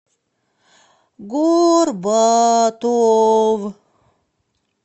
горбатов